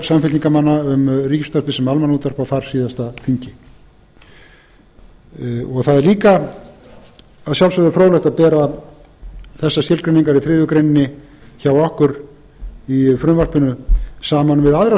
samfylkingarmanna um ríkisútvarpið sem almannaútvarp á þarsíðasta þingi það er líka að sjálfsögðu fróðlegt að bera þessar skilgreiningar í þriðju grein hjá okkur í frumvarpinu saman við aðrar